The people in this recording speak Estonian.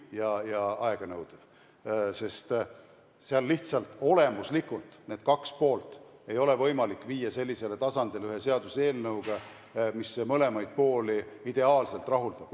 Ja see protsess on aeganõudev, sest lihtsalt olemuslikult ei ole võimalik viia neid kahte poolt ühe seaduseelnõuga sellisele ideaalsele tasandile, mis mõlemaid pooli rahuldaks.